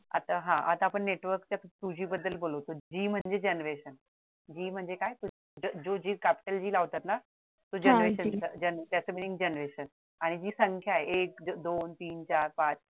आता हा आता आपण network च्या two G बद्दल बोलू G म्हणजे generationG म्हणजे काय जो G capital लावतात ना